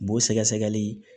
Bo sɛgɛsɛgɛli